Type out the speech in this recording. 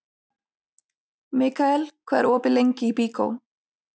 Mikkael, hvað er opið lengi í Byko?